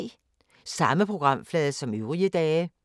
Samme programflade som øvrige dage